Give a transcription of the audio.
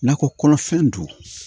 Nakɔ kɔnɔfɛn don